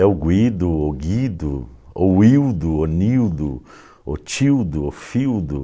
É o Guido, ou Guido, ou Ildo, ou Nildo, ou Tildo, ou Fildo.